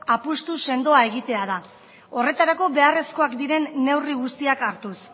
apustu sendoa egitea da horretarako beharrezkoak diren neurri guztiak hartuz